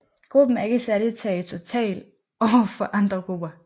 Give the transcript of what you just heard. Gruppen er ikke særlig territorial over for andre grupper